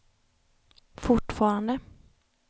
fortfarande